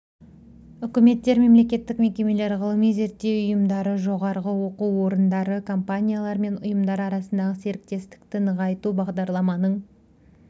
үкіметтер мемлекеттік мекемелер ғылыми-зерттеу ұйымдары жоғары оқу орындары компаниялар мен ұйымдар арасындағы серіктекстікті нығайту бағдарламаның